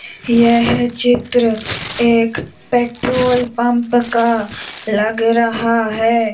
यह चित्र एक पेट्रोल पंप का लग रहा है।